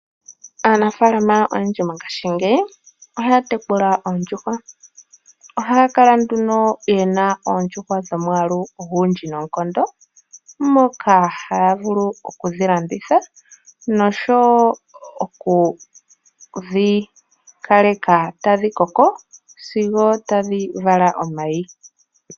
Aanafaalama oyendji mongashingeyi ohaya tekula oondjuhwa, ohaya kala nduno ye na oondjuhwa dhomwaalu ogendji noonkondo, moka haya vulu okudhi landitha noshowo okudhi kaleka tadhi koko sigo tadhi vala omayi.